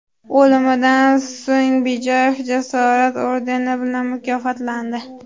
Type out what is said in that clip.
O‘limidan so‘ng Bijoyev Jasorat ordeni bilan mukofotlandi.